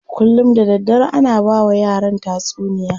Kullum da daddare ana bawa yaran tatsuniya.